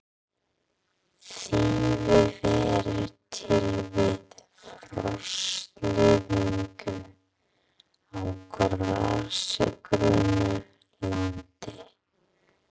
Þýfi verður til við frostlyftingu á grasigrónu landi.